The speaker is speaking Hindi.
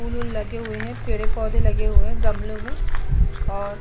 फूल-वूल लगे हुए हैं। पेड़-पौधे लगे हुए हैं गमलो में और --